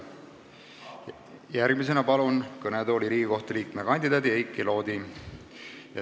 Järgmisena palun kõnetooli Riigikohtu liikme kandidaadi Heiki Loodi.